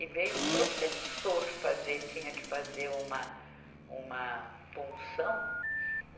E veio o professor fazer, tinha que fazer uma, uma punção.